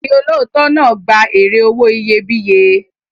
Ọkùnrin olóòótọ́ náà gba èrè owó iyebíye.